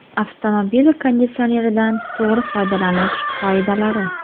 Avtomobil konditsioneridan to‘g‘ri foydalanish qoidalari.